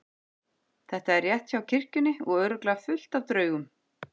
Þetta er rétt hjá kirkjunni og örugglega fullt af draugum.